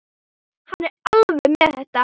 Hann er alveg með þetta.